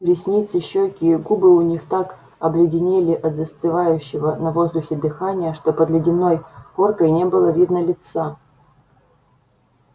ресницы щёки и губы у них так обледенели от застывающего на воздухе дыхания что под ледяной коркой не было видно лица